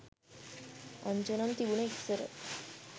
අංජනම් තිබුනේ ඉස්සර